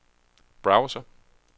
browser